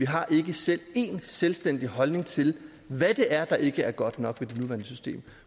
har ikke selv en selvstændig holdning til hvad det er er ikke er godt nok med det nuværende system